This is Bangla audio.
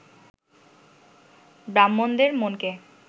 ব্রাহ্মণদের মনকে